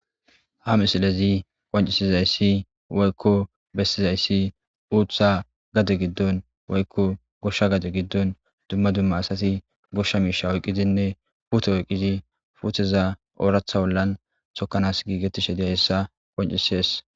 Ha misilezi qonccisizaysi woykko bessizaysi uththa gade giddon woykko goshsha gade giddon dumma dumma asati goshsha miishsha oyqqidinne puute oyqqidi puuteza ooraththa ollan tokkanas giigettishe de'izayssa qonccisees.